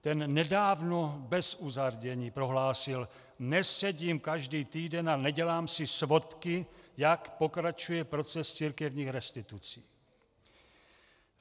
Ten nedávno bez uzardění prohlásil: Nesedím každý týden a nedělám si svodky, jak pokračuje proces církevních restitucí.